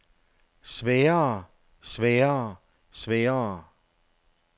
sværere sværere sværere